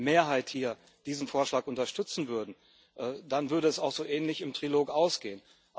Mehrheit, hier diesen Vorschlag unterstützen würden, dann würde es auch so ähnlich im Trilog ausgehen.